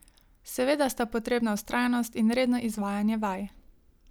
Seveda sta potrebna vztrajnost in redno izvajanje vaj.